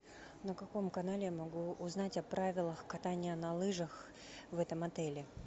на каком канале я могу узнать о правилах катания на лыжах в этом отеле